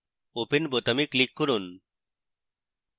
open বোতামে click করুন